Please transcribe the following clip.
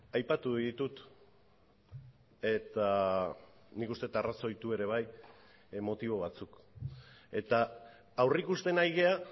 aipatu ditut eta nik uste dut arrazoitu ere bai motibo batzuk eta aurrikusten ari gara